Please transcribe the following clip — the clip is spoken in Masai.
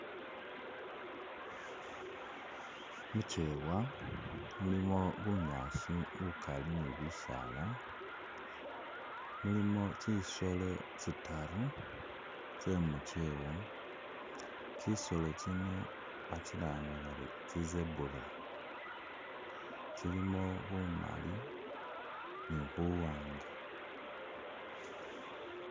Mukyewa, mulimo bunyaasi bukali ni bisaala, mulimo tsisolo tsitaru tsemukyewa tsisolo tsino batsilanga bari tsi zebra, tsilimo bumali ni buwanga.